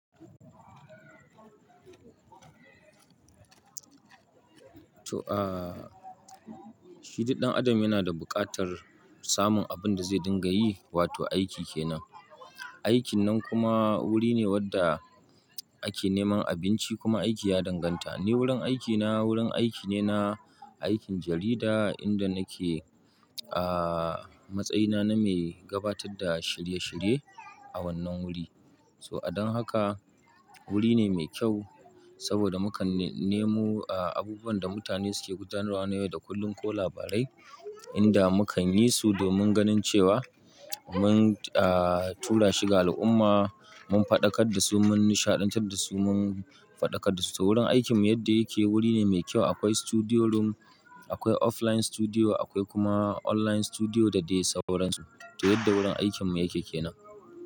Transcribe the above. To, ah, shi duk ɗan adam yana da buƙatar samun abin da zai dinga yi, wato aiki kenan. Aikin nan kuma wuri ne wadda ake neman abinci kuma aiki ya danganta. Ni wurin aikina, wurin aiki ne na aikin jarida inda nake, ah, matsayina na mai gabatar da shirye-shirye a wannan wuri. So adon haka wuri ne mai kyau saboda mu kan nemu, ah, abubuwan da mutane suke gudanarwa na yau da kullum ko labarai inda mu kan yi su domin ganin cewa mun, ah, tura shi ga al'umma mun faɗakar da su mun nishaɗantar da su mun faɗakar da su. So wurin aikinmu yadda yake wuri ne mai kyau. Akwai studio room, akwai offline studio akwai kuma online studio da dai sauransu. To yadda wurin aikinmu yake kenan.